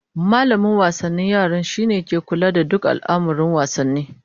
Mallamin wasanni shine ke kula da duk al'amurran wasanni